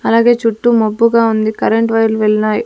అలాగే చుట్టూ మబ్బుగా ఉంది కరెంటు వైర్లు వెళ్ళినాయి.